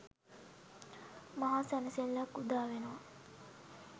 මහා සැනසිල්ලක් උදාවෙනවා.